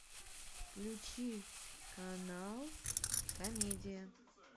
включи канал комедия